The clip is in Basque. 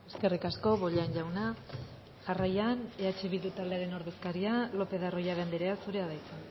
eskerrik asko bollain jauna jarraian eh bildu taldearen ordezkaria lopez de arroyabe andrea zurea da hitza